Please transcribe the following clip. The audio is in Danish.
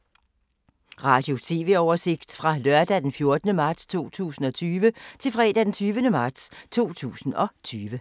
Radio/TV oversigt fra lørdag d. 14. marts 2020 til fredag d. 20. marts 2020